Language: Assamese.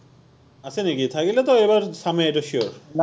আছে নিকি, থাকিলেতো এইবাৰ চামেই এইটো sure